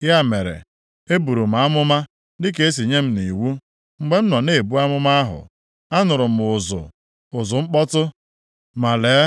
Ya mere, eburu m amụma dịka e sị nye m nʼiwu. Mgbe m nọ na-ebu amụma ahụ, anụrụ m ụzụ, ụzụ mkpọtụ. Ma lee,